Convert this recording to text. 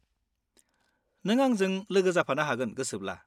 नों आंजों लोगो जाफानो हागोन गोसोब्ला।